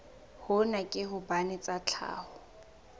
hona ke hobane tsa tlhaho